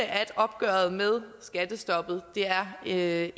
at opgøret med skattestoppet er